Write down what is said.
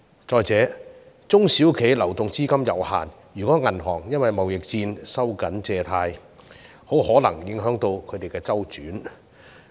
再者，中小企流動資金有限，如果銀行因為貿易戰而收緊借貸，很可能影響他們的資金周轉。